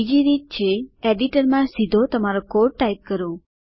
બીજી રીત છે એડિટરમાં સીધો તમારો કોડ ટાઇપ કરો